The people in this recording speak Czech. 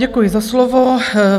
Děkuji za slovo.